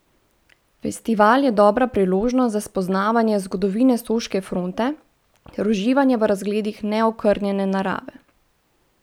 Festival je dobra priložnost za spoznavanje zgodovine soške fronte ter uživanje v razgledih neokrnjene narave.